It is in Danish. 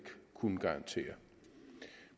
kunne garantere